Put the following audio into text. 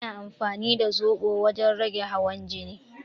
Ana amfani da zoɓo wajen rage hawan jini